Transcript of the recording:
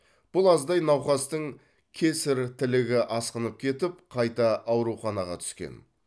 бұл аздай науқастың кесерь тілігі асқынып кетіп қайта ауруханаға түскен